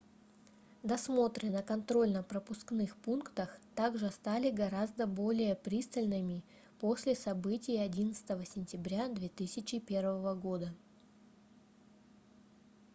досмотры на контрольно-пропускных пунктах также стали гораздо более пристальными после событий 11 сентября 2001 года